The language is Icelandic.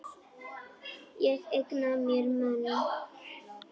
Ég eigna mér menn.